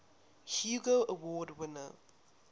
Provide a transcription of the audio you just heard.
hugo award winner